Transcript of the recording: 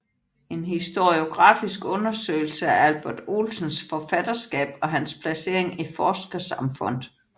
En historiografisk undersøgelse af Albert Olsens forfatterskab og hans placering i forskersamfundet